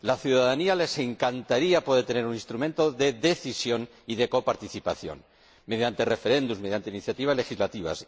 A la ciudadanía le encantaría poder tener un instrumento de decisión y de coparticipación, mediante referendos, mediante iniciativas legislativas.